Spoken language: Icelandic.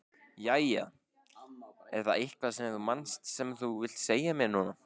Jæja, er það eitthvað sem þú manst sem þú vilt segja mér núna?